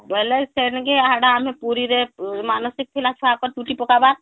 ବୋଇଲେକ ସେନ କି ହାଡ଼େ ଆମର ପୁରୀରେ ମାନସିକ ଥିଲା ଛୁଆଙ୍କର ଚୁଟି ପକାବାର